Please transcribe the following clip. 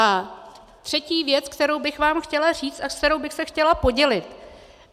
A třetí věc, kterou bych vám chtěla říct a s kterou bych se chtěla podělit.